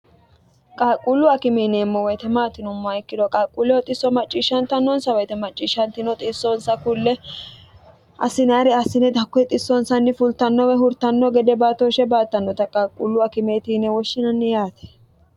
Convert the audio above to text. qalquullu akimeeneemmo woyite maati yinommoha ikkiro qaquulleho xisso macciishshantannonsa woyite macciishshantino xissoonsa kulle assinayire assine hakko xissoonsanni fultanno woy hurtanno gede baatooshshe baattannota qaaquullu akimeeti yine woshshinanni yaate